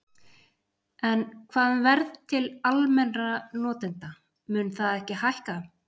En hvað um verð til almennra notenda, mun það ekki hækka?